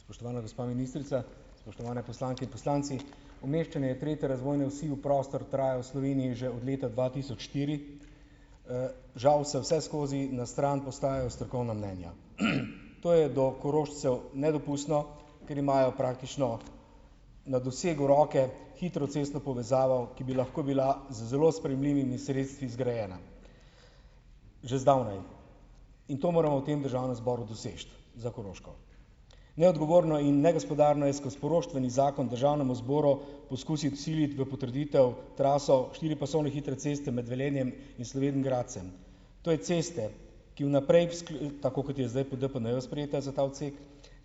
Spoštovana gospa ministrica, spoštovane poslanke in poslanci! Umeščanje tretje razvojne osi v prostor traja v Sloveniji že od leta dva tisoč štiri. Žal se vseskozi na stran postajajo strokovna mnenja. To je do Korošcev nedopustno, ker imajo praktično na dosegu roke hitro cestno povezavo, ki bi lahko bila z zelo sprejemljivimi sredstvi zgrajena že zdavnaj. In to moramo v tem državnem zboru doseči za Koroško. Neodgovorno in negospodarno je skozi poroštveni zakon državnemu zboru poskusiti vsiliti v potrditev traso štiripasovne hitre ceste med Velenjem in Slovenj Gradcem. To je ceste, ki v naprej, tako kot je zdaj po DPN-ju sprejeta za ta odsek,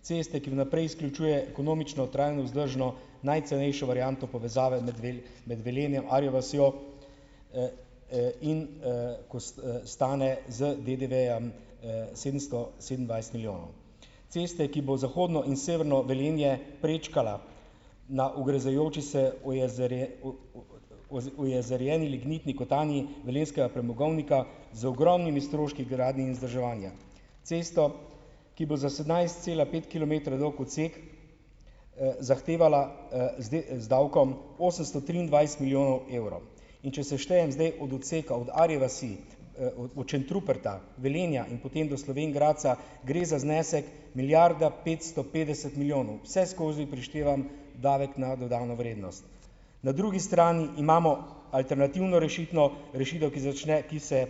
ceste, ki v naprej izključuje ekonomično, trajno, vzdržno, najcenejšo varianto povezave med med Velenjem, Arjo vasjo, in, ko stane z DDV-jem, sedemsto sedemindvajset milijonov. Ceste, ki bo zahodno in severno Velenje prečkala na ugrezajoči se ojezerjeni lignitni kotanji velenjskega premogovnika z ogromnimi stroški gradnje in vzdrževanja. Cesto, ki bo za sedemnajst cela pet kilometrov dolg odsek, zahtevala, z z davkom osemsto triindvajset milijonov evrov. In če seštejem zdaj od odseka, od Arje vasi, od od Šentruperta, Velenja in potem do Slovenj Gradca, gre za znesek milijarda petsto petdeset milijonov, vseskozi prištevan davek na dodano vrednost. Na drugi strani imamo alternativno rešitno rešitev, ki začne, ki se,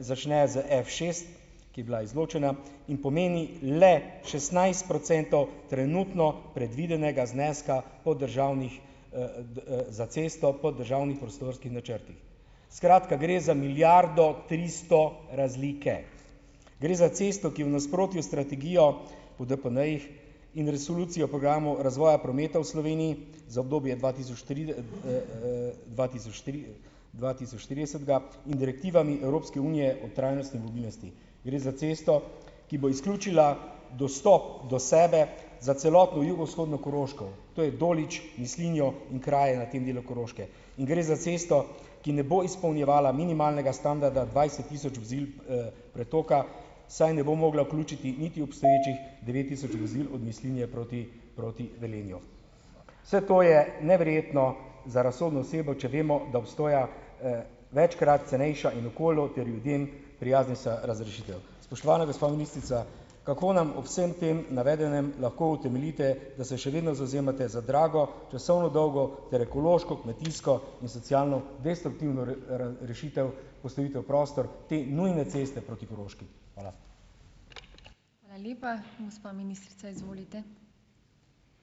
začne s Fšest, ki je bila izločena in pomeni le šestnajst procentov trenutno predvidenega zneska po državnih, za cesto po državnih prostorskih načrtih. Skratka, gre za milijardo tristo razlike. Gre za cesto, ki je v nasprotju s strategijo po DPN-jih, in resolucijo programov razvoja prometa v Sloveniji, za obdobje dva tisoč dva tisoč tri, dva tisoč tridesetega, in direktivami Evropske unije o trajnostni mobilnosti. Gre za cesto, ki bo izključila dostop do sebe za celotno jugovzhodno Koroško, to je Dolič, Mislinjo in krajev na tem delu Koroške. In gre za cesto, ki ne bo izpolnjevala minimalnega standarda dvajset tisoč vozil, pretoka, saj ne bo mogla vključiti niti obstoječih devet tisoč vozil od Mislinje proti proti Velenju. Vse to je neverjetno za razsodno osebo, če vemo, da obstoja, večkrat cenejša in okolju ter ljudem prijaznejša razrešitev. Spoštovana gospa ministrica! Kako nam ob vsem tem navedenem lahko utemeljite, da se še vedno zavzemate za drago, časovno dolgo ter ekološko, kmetijsko in socialno destruktivno rešitev postavitev v prostor te nujne ceste proti Koroški? Hvala.